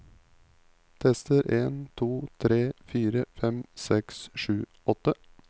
Tester en to tre fire fem seks sju åtte